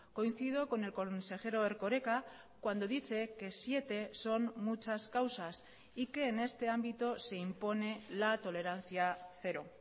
coincido con el consejero erkoreka cuando dice que siete son muchas causas y que en este ámbito se impone la tolerancia cero